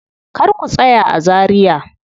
Kar ku tsaya a Zaria.